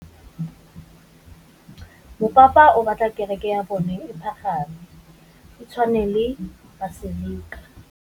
Mopapa o batla kereke ya bone e pagame, e tshwane le paselika.